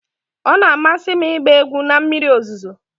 Ọ na-amasị m ịgba egwu na mmiri ozuzo.